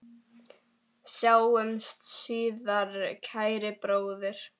Sjáumst síðar, kæri bróðir.